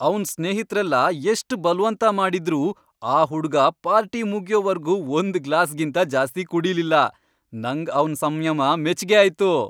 ಅವ್ನ್ ಸ್ನೇಹಿತ್ರೆಲ್ಲ ಎಷ್ಟ್ ಬಲ್ವಂತ ಮಾಡಿದ್ರೂ ಆ ಹುಡ್ಗ ಪಾರ್ಟಿ ಮುಗ್ಯೋವರ್ಗೂ ಒಂದ್ ಗ್ಲಾಸ್ಗಿಂತ ಜಾಸ್ತಿ ಕುಡೀಲಿಲ್ಲ, ನಂಗ್ ಅವ್ನ್ ಸಂಯಮ ಮೆಚ್ಗೆ ಆಯ್ತು.